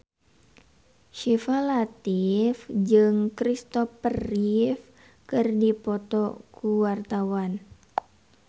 Syifa Latief jeung Kristopher Reeve keur dipoto ku wartawan